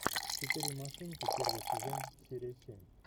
четыре машинки первый сезон серия семь